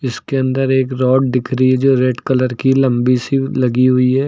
इसके अंदर एक रॉड दिख रही है जो रेड कलर की लंबी सी लगी हुई है।